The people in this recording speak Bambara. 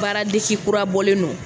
Baara desi kura bɔlen no